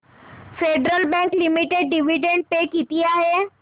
federal Bank Limited dividend pay किती आहे